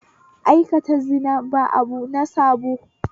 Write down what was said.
Aikata zina ba abu na sabo